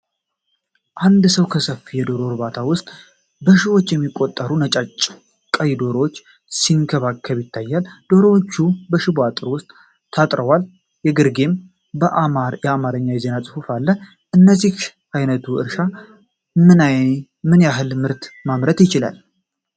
አንድ ሰው በሰፊ የዶሮ እርባታ ውስጥ በሺዎች የሚቆጠሩ ነጭና ቀይ ዶሮዎችን ሲንከባከብ ይታያል። ዶሮዎቹ በሽቦ አጥር ውስጥ ታጥረዋል፣ ከግርጌም የአማርኛ የዜና ጽሁፍ አለ። የእንደዚህ ዓይነቱ እርሻ ምን ያህል ምርት ማምረት ይችላል?